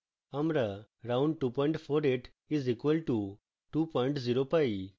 আমরা round 248 is equal to 20 pi